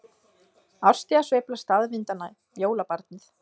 Árstíðasveifla staðvindanna- jólabarnið